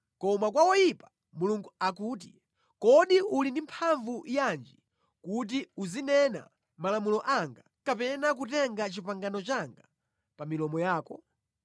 Koma kwa woyipa, Mulungu akuti, “Kodi uli ndi mphamvu yanji kuti uzinena malamulo anga kapena kutenga pangano langa pa milomo yako?